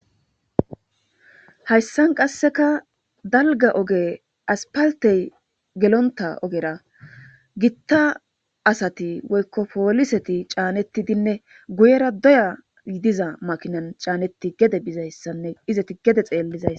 hayssan qasseka dalga oge aspaltey gelonta ogera gitta asati woykkopooliseti caanettidinne guyera doya ydiza makinan caanetti gede bizayssanne izeti gede xeellizays